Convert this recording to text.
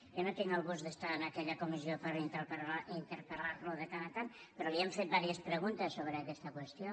jo no tinc el gust d’estar en aquella comissió per interpel·rò li hem fet diverses preguntes sobre aquesta qüestió